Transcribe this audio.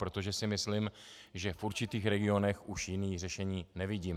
Protože si myslím, že v určitých regionech už jiné řešení nevidím.